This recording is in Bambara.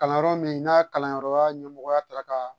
Kalanyɔrɔ min n'a kalanyɔrɔ ɲɛmɔgɔya taara ka